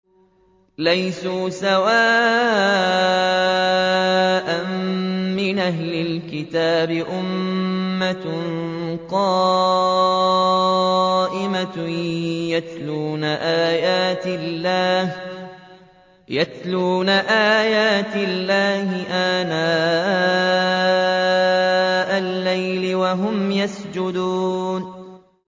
۞ لَيْسُوا سَوَاءً ۗ مِّنْ أَهْلِ الْكِتَابِ أُمَّةٌ قَائِمَةٌ يَتْلُونَ آيَاتِ اللَّهِ آنَاءَ اللَّيْلِ وَهُمْ يَسْجُدُونَ